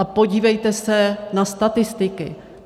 A podívejte se na statistiky.